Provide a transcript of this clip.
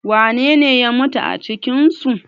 wanene ya mutu a cikinsu?